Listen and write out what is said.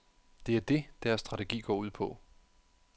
Det er det, deres strategi går ud på.